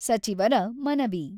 ಸಚಿವರ ಮನವಿ.